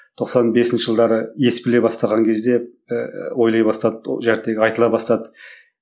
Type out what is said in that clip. тоқсан бесінші жылдары ес біле бастаған кезде ыыы ойлай бастады айтыла бастады